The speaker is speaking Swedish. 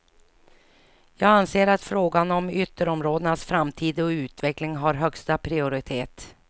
Jag anser att frågan om ytterområdenas framtid och utveckling har högsta prioritet.